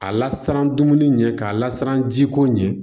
A lasiran dumuni ɲɛ k'a lasiran ji ko ɲɛ